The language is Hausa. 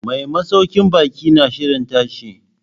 Mai masaukin baki na shirin tashi.